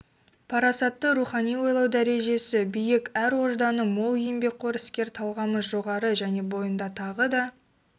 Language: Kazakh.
парасатты рухани ойлау дәрежесі биік ар-ожданы мол еңбекқор іскер талғамы жоғары және бойында тағы да